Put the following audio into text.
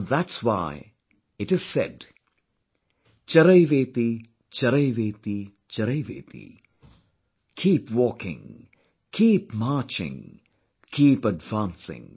And that's why, it is said "Charaivetee, charaivetee, charaivetee..." Keep walking, keep marching, keep advancing